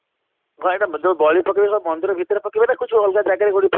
କଣ ଏଇଟା ଯୋଉବଳି ପକେଇବେ କଣ ମନ୍ଦିର ଭିତରେ ପକେଇବେ ନା କିଛି ଅଲଗା ଜାଗାରେ କୋଉଠି ପକେଇବେ